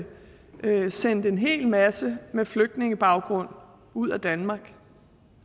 bliver sendt en hel masse med flygtningebaggrund ud af danmark